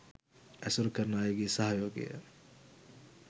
ඇසුරු කරන අයගේ සහයෝගය